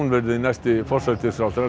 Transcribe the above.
verði næsti forsætisráðherra